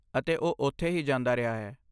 ਅਤੇ ਉਹ ਉੱਥੇ ਹੀ ਜਾਂਦਾ ਰਿਹਾ ਹੈ।